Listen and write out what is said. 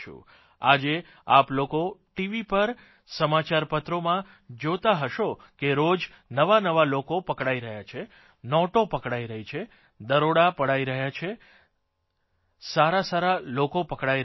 આજે આપ લોકો ટીવી પર સમાચારપત્રોમાં જોતાં હશો કે રોજ નવાનવા લોકો પકડાઇ રહ્યા છે નોટો પકડાઇ રહી છે દરોડા પડાઇ રહ્યા છે સારાસાર લોકો પકડાઇ રહ્યા છે